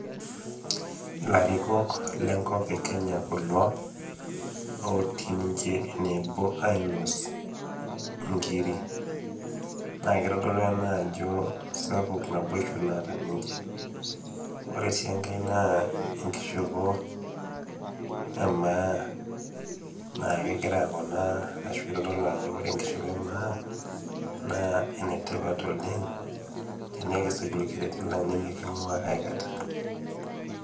Ilarikok lenkop e Kenya kulo, otii ninche enebo ainos inkiri. Na kitodolu ena ajo sapuk naboisho naata ninche. Ore si enkae naa enkishopo emaa, nakegira kuna ashu itodolu ajo ore enkishopo emaa, naa enetipat oleng, tenikisuj orkerrerri lang' nimiking'ua aikata.